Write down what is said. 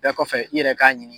bɛɛ kɔfɛ i yɛrɛ k'a ɲini.